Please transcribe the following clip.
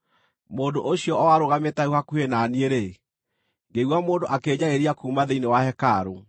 Mũndũ ũcio o arũgamĩte hau hakuhĩ na niĩ-rĩ, ngĩigua mũndũ akĩnjarĩria kuuma thĩinĩ wa hekarũ.